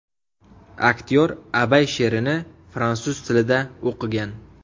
Aktyor Abay she’rini fransuz tilida o‘qigan.